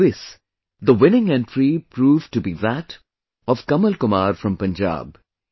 In this, the winning entry proved to be that of Kamal Kumar from Punjab